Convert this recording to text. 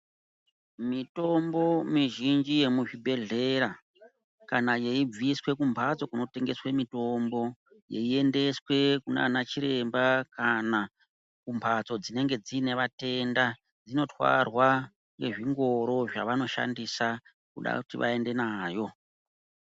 Mitombo mizhinji yemuzvibhedhlera kana yeibviswa kumbatso inotengeswa mitombo yeiendeswa kunana chiremba kana kumbatso dzine matenda dzinotwara nezvingoro zvavanoshandisa vakuda vaende navo.